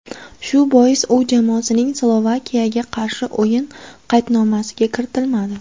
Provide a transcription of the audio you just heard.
Shu bois u jamoasining Slovakiyaga qarshi o‘yin qaydnomasiga kiritilmadi.